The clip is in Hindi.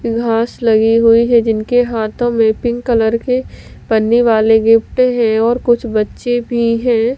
घास लगी हुई है जिनके हाथों में पिंक कलर के पन्नी वाले गिफ्ट हैंऔर कुछ बच्चे भी हैं।